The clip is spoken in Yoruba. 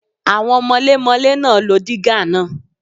Àwọn mọlémọlé náà lo dígà náà.